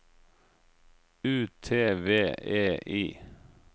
U T V E I